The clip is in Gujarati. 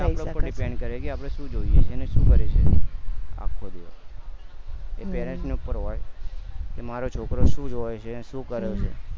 થઇ સકે છે એ આપડા ઉપર depends કરે કે આપણે સુ જોઈએ અને સુ કરે એ parents ની ઉપર હોવા જોઈએ કે મારો છોકરો સુ જોવે છે સુ કરે છે